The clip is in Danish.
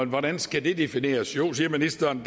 hvordan skal det defineres jo siger ministeren